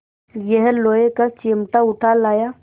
यह लोहे का चिमटा उठा लाया